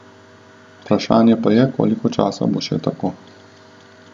Vprašanje pa je, koliko časa bo še tako.